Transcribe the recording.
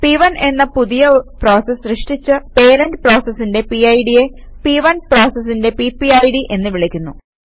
പ്1 എന്ന പുതിയ പ്രോസസ് സൃഷ്ടിച്ച പേരന്റ് പ്രോസസിന്റെ പിഡ് യെ P1പ്രോസസിന്റെ പിപിഡ് എന്ന് വിളിക്കുന്നു